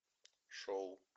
шоу